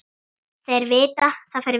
Þeir vita það fyrir vestan